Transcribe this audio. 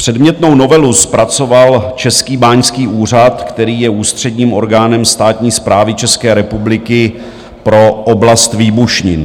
Předmětnou novelu zpracoval Český báňský úřad, který je ústředním orgánem státní správy České republiky pro oblast výbušnin.